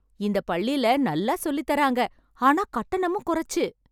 இந்த பள்ளில நல்லா சொல்லித்தாரங்க ஆனா கட்டணமும் குறைச்சு